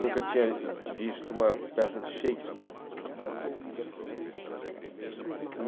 Nunca tinha visto uma peça de Shakespeare.